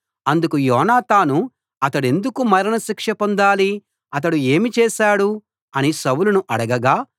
అందుకు యోనాతాను అతడెందుకు మరణశిక్ష పొందాలి అతడు ఏమి చేశాడు అని సౌలును అడగగా